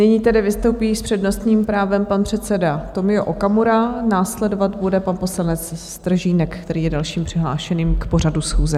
Nyní tedy vystoupí s přednostním právem pan předseda Tomio Okamura, následovat bude pan poslanec Stržínek, který je dalším přihlášeným k pořadu schůze.